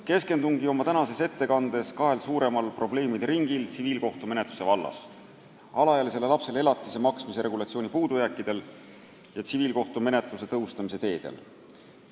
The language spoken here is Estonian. Keskendungi oma tänases ettekandes kahele suurimale probleemide ringile tsiviilkohtumenetluse vallast: alaealisele lapsele elatise maksmise regulatsiooni puudujääkidele ja tsiviilkohtumenetluse tõhustamise teedele.